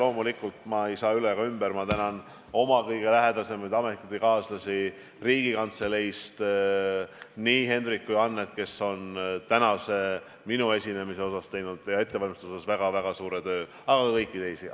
Ja loomulikult ma ei saa üle ega ümber sellest, et ma tänan oma kõige lähedasemaid töökaaslasi Riigikantseleist, nii Henryt kui Annet, kes on minu tänase esinemise ettevalmistuseks teinud väga-väga suure töö, aga ka kõiki teisi.